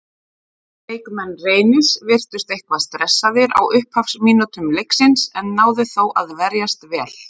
Leikmenn Reynis virtust eitthvað stressaðir á upphafsmínútum leiksins en náðu þó að verjast vel.